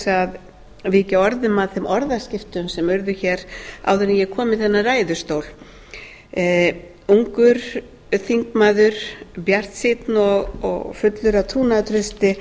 að víkja orðum að þeim orðaskiptum sem urðu hér áður en ég kom í þennan ræðustól ungur þingmaður bjartsýnn og fullur af trúnaðartrausti